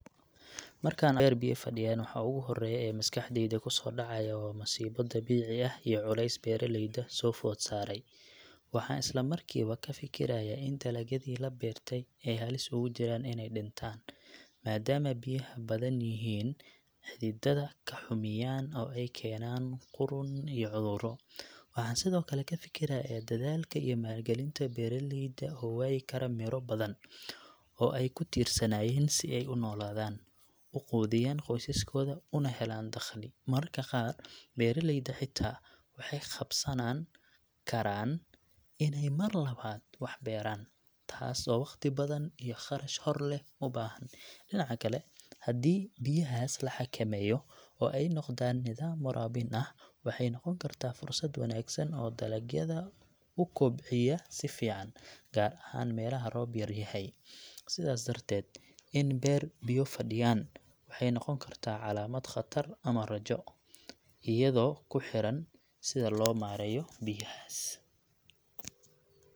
Markaan beer biyo fadhiyaan, waxa ugu horreeya ee maskaxdayda ku soo dhacaya waa masiibo dabiici ah iyo culays beeraleyda soo food saaray. Waxaan isla markiiba ka fikirayaa in dalagyadii la beertay ay halis ugu jiraan inay dhintaan, maadaama biyaha badan yihiin xididada ka xumiyaan oo ay keenaan qudhun iyo cudurro. Waxaan sidoo kale ka fikirayaa dadaalka iyo maalgelinta beeraleyda oo waayi kara midho badan oo ay ku tiirsanaayeen si ay u noolaadaan, u quudiyaan qoysaskooda, una helaan dakhli. Mararka qaar, beeraleyda xitaa waxay khasbanaan karaan inay mar labaad wax beeraan, taas oo wakhti badan iyo kharash horleh u baahan. Dhinaca kale, haddii biyahaas la xakameeyo oo ay noqdaan nidaam waraabin ah, waxay noqon kartaa fursad wanaagsan oo dalagyada u kobciya si fiican, gaar ahaan meelaha roob yar yahay. Sidaas darteed, in beer biyo fadhiyaan waxay noqon kartaa calaamad khatar ama rajo, iyadoo ku xiran sida loo maareeyo biyahaas.